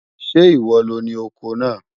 Sẹ́ íwọ́ lọ ni ọkọ́ náà?